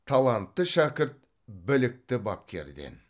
талантты шәкірт білікті бапкерден